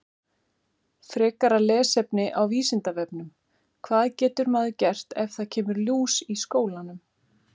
Frekara lesefni á Vísindavefnum: Hvað getur maður gert ef það kemur lús í skólann?